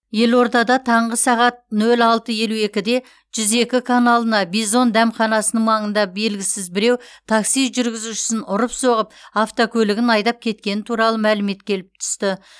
елордада таңғы сағат нөл алты елу екіде жүз екі каналына бизон дәмханасының маңында белгісіз біреу такси жүргізушісін ұрып соғып автокөлігін айдап кеткені туралы мәлімет келіп түсті